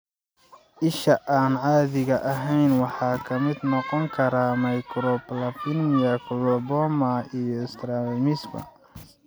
Isha aan caadiga ahayn waxaa ka mid noqon kara microphthalmia, coloboma, iyo strabismus.